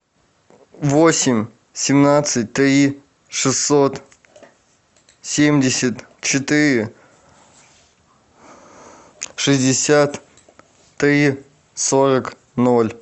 восемь семнадцать три шестьсот семьдесят четыре шестьдесят три сорок ноль